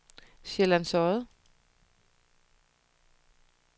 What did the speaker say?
Sjællands Odde